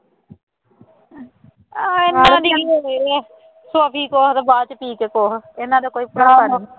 ਹਾਂ ਇਹਨਾ ਦੀ ਵੀ ਹੋਣੀ ਹੈ, ਸੋਫੀ ਕੁੱਛ ਅਤੇ ਬਾਅਦ ਵਿੱਚ ਪੀ ਕੇ ਕੁੱਛ ਇਹਨਾ ਦਾ ਕੋਈ ਭਰੋਸਾ ਨਹੀਂ